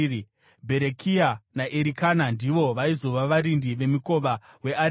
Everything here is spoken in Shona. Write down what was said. Bherekia naErikana ndivo vaizova varindi vemikova weareka.